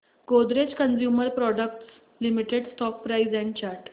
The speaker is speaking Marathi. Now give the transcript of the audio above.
Godrej consumer products limited stock price and chart